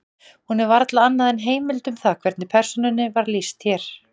Hún er varla annað en heimild um það hvernig persónunni var lýst hér.